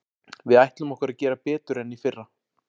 Við ætlum okkur að gera betur en í fyrra.